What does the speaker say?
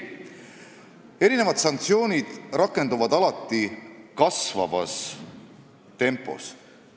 Ei, sanktsioonid rakenduvad alati kasvavas trendis.